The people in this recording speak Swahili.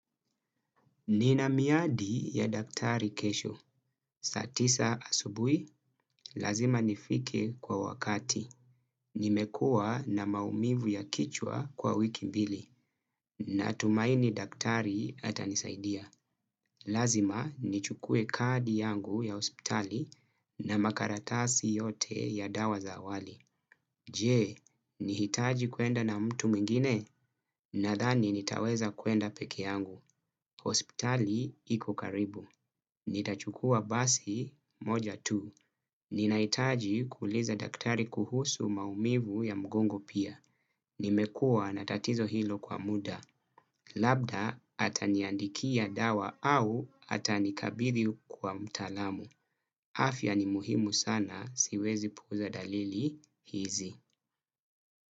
Nina miadi ya daktari kesho. Saa tisa asubui, lazima nifike kwa wakati. Nimekua na maumivu ya kichwa kwa wiki mbili. Natumaini daktari atanisaidia. Lazima nichukue kadi yangu ya hospitali na makaratasi yote ya dawa za awali. Jee, nihitaji kuenda na mtu mwingine? Nadhani nitaweza kuenda peke yangu. Ospitali iko karibu. Nitachukua basi moja tu. Ninahitaji kuuliza daktari kuhusu maumivu ya mgongo pia. Nimekua na tatizo hilo kwa muda. Labda ataniandikia dawa au atanikabidhi kwa mtaalamu. Afya ni muhimu sana siwezi puuza dalili hizi.